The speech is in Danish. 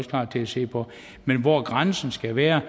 klar til at se på men hvor grænsen skal være